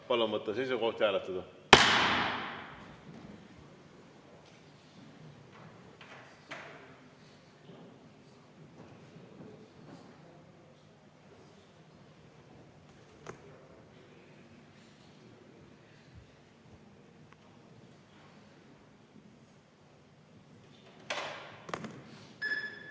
Palun võtta seisukoht ja hääletada!